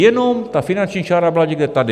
Jenom ta finanční čára byla někde tady.